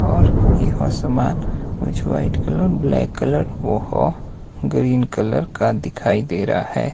और यह सामान कुछ व्हाइट कलर ब्लैक कलर और ग्रीन कलर का दिखाई दे रहा है।